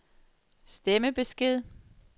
stemmebesked